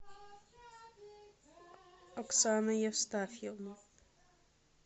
оксана евстафьевна